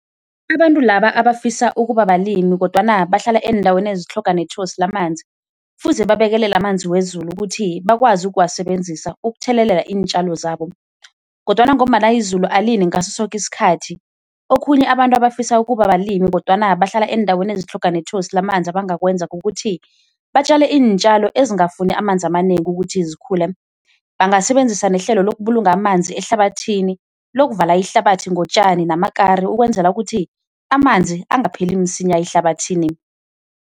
Abantu laba abafisa ukuba balimi kodwana bahlala eendaweni ezitlhoga nethosi lamanzi kufuze babekelele amanzi wezulu ukuthi bakwazi ukuwasebenzisa ukuthelelela iintjalo zabo, kodwana ngombana izulu alini ngaso soke isikhathi okhunye abantu abafisa ukuba balimi kodwana bahlala eendaweni ezitlhoga nethosi lamanzi abangakwenza kukuthi batjale iintjalo ezingafuni amanzi amanengi ukuthi zikhule. Bangasebenzisa nehlelo lokubulunga amanzi ehlabathini lokuvala ihlabathi ngotjani namakari ukwenzela ukuthi amanzi angapheli msinya ehlabathini.